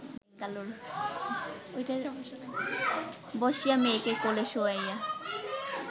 বসিয়া মেয়েকে কোলে শোয়াইয়া